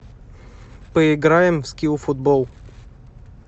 поиграем в скилл футбол